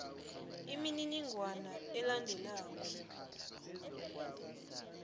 imininingwana elandelako le